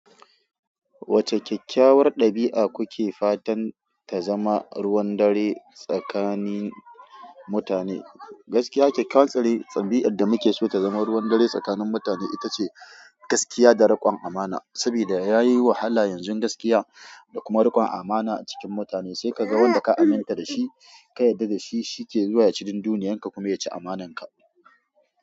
Wacce kyakkyawar ɗabi'a kuke fatan ta zama ruwan dare tsakanin mutane? Gaskiya kyakkyawar, sare ɗabi'ar da muke so ta zama ruwan dare tsakanin mutane ita ce gaskiya da riƙon amana. Sabida yayi wahala yanzun gaskiya da kuma riƙon amana a cikin mutane. Sai ka ga wanda ka aminta da shi, ka yarda da shi, shi ke zuwa ya ci dunduniyarka kuma ya ci amananka.